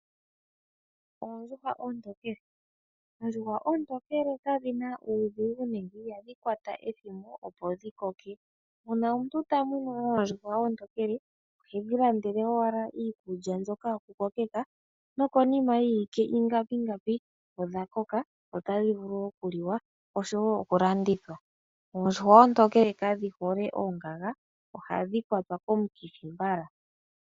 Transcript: Oondjuhwa oontokele ,oondjuhwa oontokele kadhina uudhigu nenge ihadhi kwata ethimbo opo dhi koke mpono omuntu ta munu owala oondjuhwa oontokele tadhi landele wala iikulya mbyoka yokukokeka nokonima yiiwike ingapi ngapi odha koka notadhi vulu okulandithwa noku liwa oondjuhwa oontokele kadhi hole oongaga ohadhi kwatwa komukithi mbala .